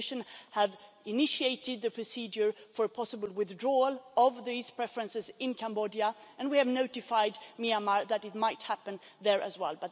The Commission has initiated the procedure for possible withdrawal of these preferences in Cambodia, and we have notified Myanmar that it might happen there as well.